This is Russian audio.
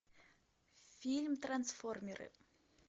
фильм трансформеры